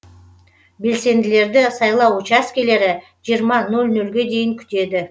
белсенділерді сайлау учаскілері жиырма нөл нөлге дейін күтеді